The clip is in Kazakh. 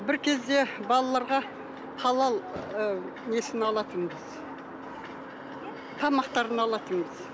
бір кезде балаларға халал ы несін алатынбыз тамақтарын алатынбыз